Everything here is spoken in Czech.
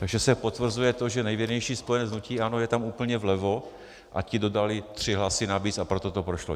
Takže se potvrzuje to, že nejvěrnější spojenec hnutí ANO je tam úplně vlevo a ti dodali tři hlasy navíc, a proto to prošlo.